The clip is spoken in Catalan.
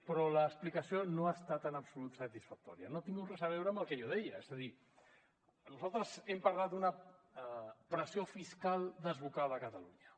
però l’explicació no ha estat en absolut satisfactòria no ha tingut res a veure amb el que jo deia és a dir nosaltres hem parlat d’una pressió fiscal desbocada a catalunya